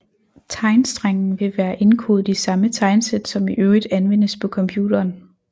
Tegnstrengen vil være indkodet i samme tegnsæt som i øvrigt anvendes på computeren